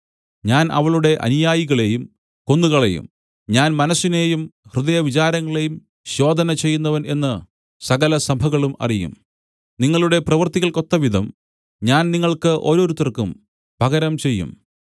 ഞാൻ അവളുടെ അനുയായികളെയും കൊന്നുകളയും ഞാൻ മനസ്സിനേയും ഹൃദയവിചാരങ്ങളെയും ശോധന ചെയ്യുന്നവൻ എന്നു സകലസഭകളും അറിയും നിങ്ങളുടെ പ്രവർത്തികൾക്കൊത്തവിധം ഞാൻ നിങ്ങൾക്ക് ഓരോരുത്തർക്കും പകരം ചെയ്യും